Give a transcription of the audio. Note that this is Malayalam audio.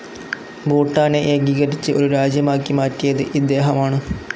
ഭൂട്ടാനെ ഏകീകരിച്ച് ഒരു രാജ്യമാക്കി മാറ്റിയത് ഇദ്ദേഹമാണ്.